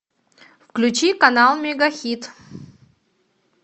включи канал мегахит